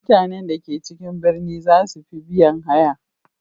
Mutanen da ke cikin birni za su fi biyan haya.